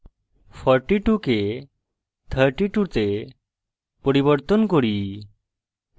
42 কে 32 তে পরিবর্তন করি